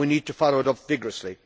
We need to follow it up vigorously.